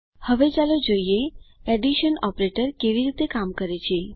હવે ચાલો જોઈએ એડીશન ઓપરેટર કેવી રીતે કામ કરે છે